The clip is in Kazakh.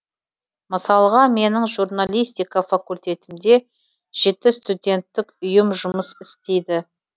мысалға менің журналистика факультетімде жеті студенттік ұйым жұмыс істейді